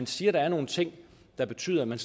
siger at der er nogle ting der betyder at man